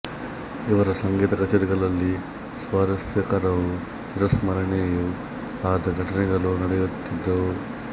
ಇವರ ಸಂಗೀತ ಕಚೇರಿಗಳಲ್ಲಿ ಸ್ವಾರಸ್ಯಕರವೂ ಚಿರಸ್ಮರಣೀಯವೂ ಆದ ಘಟನೆಗಳು ನಡೆಯುತ್ತಿದ್ದವು